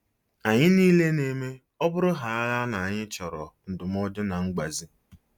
Anyị niile na-eme - ọ bụrụhaala na anyị chọrọ ndụmọdụ na mgbazi.